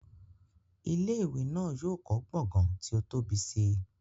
Ilé ìwé náà yóò kọ́ gbọ̀ngán tí ó tóbi si